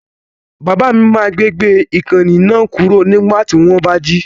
Bàbá mi máa gbé gbé ìkànnì náà kúrò nígbà tí wọ́n bá jí.